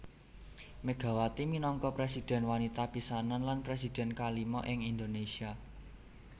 Megawati minangka presidhèn wanita pisanan lan presidhèn kalima ing Indonésia